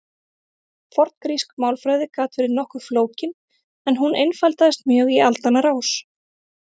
forngrísk málfræði gat verið nokkuð flókin en hún einfaldaðist mjög í aldanna rás